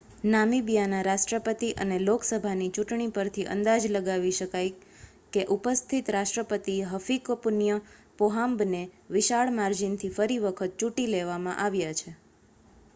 નામીબિયાના રાષ્ટ્રપતિ અને લોકસભાની ચુંટણી પરથી અંદાજ લગાવી શકાય કે ઉપસ્થિત રાષ્ટ્રપતિ હફિકપુન્ય પોહામ્બને વિશાળ માર્જીનથી ફરી વખત ચૂંટી લેવામાં આવ્યા છે